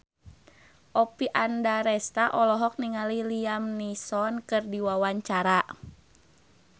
Oppie Andaresta olohok ningali Liam Neeson keur diwawancara